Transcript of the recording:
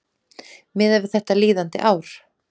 miðað við þetta líðandi ár